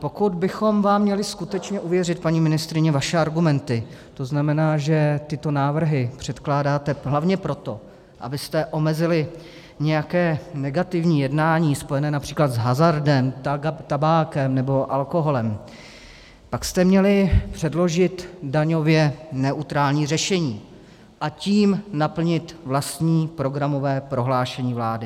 Pokud bychom vám měli skutečně uvěřit, paní ministryně, vaše argumenty, to znamená, že tyto návrhy předkládáte hlavně proto, abyste omezili nějaké negativní jednání spojené například s hazardem, tabákem nebo alkoholem, pak jste měli předložit daňově neutrální řešení, a tím naplnit vlastní programové prohlášení vlády.